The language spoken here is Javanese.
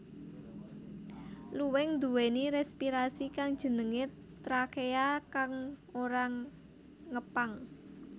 Luwing nduwèni respirasi kang jenengé trakea kang ora ngepang